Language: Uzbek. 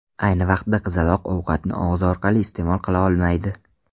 Ayni vaqtda qizaloq ovqatni og‘zi orqali iste’mol qila olmaydi.